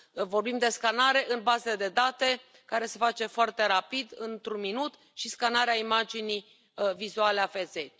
Vorbim de scanare în baze de date, care se face foarte rapid, într un minut și scanarea imaginii vizuale a feței.